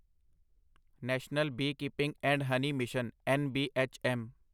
national beekeeping and honey mission NBHM